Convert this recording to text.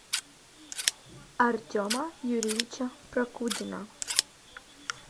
артема юрьевича прокудина